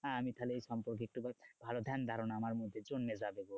হ্যাঁ আমি তাহলে এই সম্পর্কে একটু মানে ভালো ধ্যানধারণা আমার মধ্যে জন্মে যাবে।